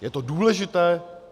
Je to důležité.